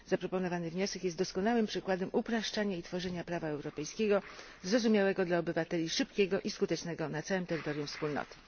Zaproponowany wniosek jest doskonałym przykładem upraszczania i tworzenia prawa europejskiego zrozumiałego dla obywateli, szybkiego i skutecznego na całym terytorium wspólnoty.